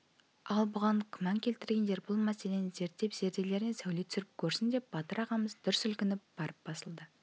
ал оған күмән келтіргендер бұл мәселені зерттеп зерделеріне сәуле түсіріп көрсін деп батырағамыз дүр сілкініп барып басылды